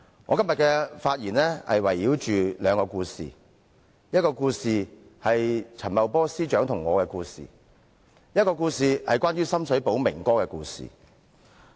我今天的發言會圍繞兩個故事，第一個故事是陳茂波司長和我的故事，另一個則是有關深水埗"明哥"的故事。